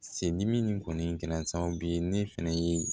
Se dimi nin kɔni kɛra sababu ye ne fɛnɛ ye